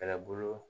Kɛlɛbolo